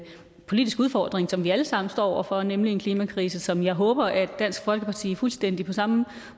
politisk udfordring som vi alle sammen står over for nemlig en klimakrise som jeg håber at dansk folkeparti fuldstændig på samme